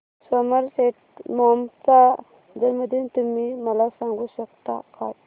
Somerset Maugham चा जन्मदिन तुम्ही मला सांगू शकता काय